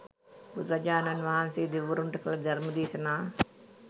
බුදුරජාණන් වහන්සේ දෙවිවරුන්ට කළ ධර්ම දේශනා